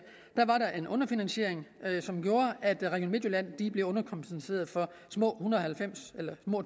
var en underfinansiering som gjorde at region midtjylland blev underkompenseret for små